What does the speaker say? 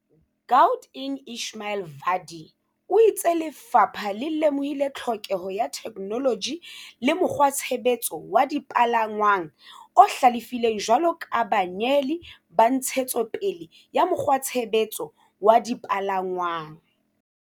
Gaut eng Ismail Vadi o itse lefapha le lemohile tlhokeho ya theke -noloji le mokgwatshebetso wa dipalangwang o hlalefileng jwalo ka banyeheli ba ntshetso pele ya mokgwatshebetso wa dipalangwang.